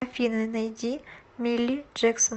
афина найди милли джексон